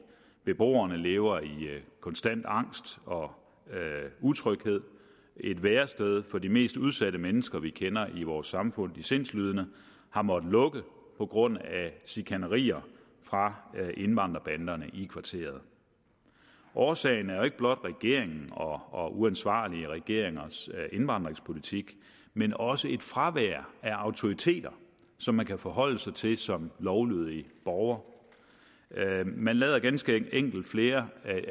beboerne lever i konstant angst og utryghed et værested for de mest udsatte mennesker vi kender i vores samfund de sindslidende har måttet lukke på grund af chikanerier fra indvandrerbanderne i kvarteret årsagen er jo ikke blot regeringens og uansvarlige regeringers indvandringspolitik men også et fravær af autoriteter som man kan forholde sig til som lovlydig borger man lader ganske enkelt flere